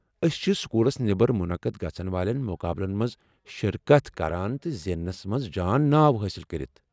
أسۍ چھِ سکولس نٮ۪بر منعقد گژھن والٮ۪ن مقابلن منٛز شرکت کران تہٕ زیننس منز جان ناو حٲصل کٔرتھ۔